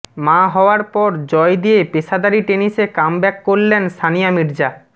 মা হওয়ার পর জয় দিয়ে পেশাদারি টেনিসে কামব্যাক করলেন সানিয়া মির্জা